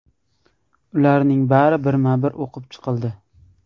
Ularning bari birma-bir o‘qib chiqildi.